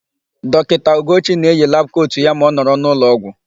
Dọkịta Ugochi na-eyi labụ kotu ya ma ọ nọrọ n'ụlọọgwụ.